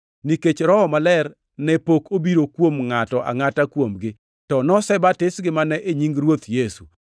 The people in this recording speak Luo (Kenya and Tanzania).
nikech Roho Maler ne pok obiro kuom ngʼato angʼata kuomgi, to nosebatisgi mana e nying Ruoth Yesu.